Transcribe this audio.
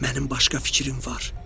Mənim başqa fikrim var.”